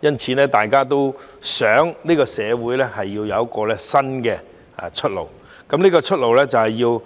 因此，大家都想社會有新出路，大家都要